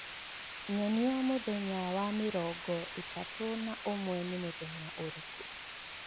Nyonia mũthenya wa mĩrongo ĩtatũ na ũmwe nĩ mũthenya ũrĩkũ